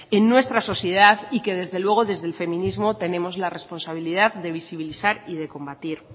en nuestra sociedad y que desde luego desde el feminismo tenemos la responsabilidad de visibilizar y de combatir